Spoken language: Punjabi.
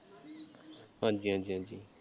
ਹਾਂਜੀ ਹਾਂਜੀ ਹਾਂਜੀ।